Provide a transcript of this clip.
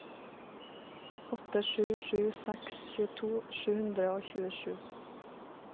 åtte sju sju seks tjueto sju hundre og tjuesju